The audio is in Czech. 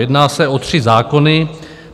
Jedná se o tři zákony.